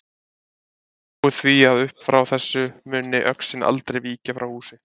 Ég spái því að uppfrá þessu muni öxin aldrei víkja frá húsi þínu.